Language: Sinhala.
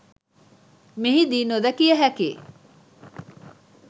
මෙහිදී නොදැකිය හැකි